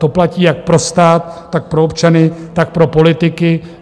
To platí jak pro stát, tak pro občany, tak pro politiky.